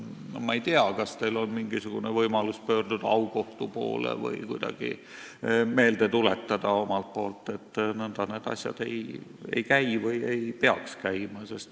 Ma ei tea, kas teil on mingisugune võimalus pöörduda aukohtu poole või kuidagi omalt poolt meelde tuletada, et nõnda need asjad ei käi või ei peaks käima.